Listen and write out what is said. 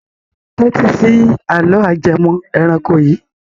Tẹ́tí sí àlọ́ ajẹmọ́ ẹranko yìí.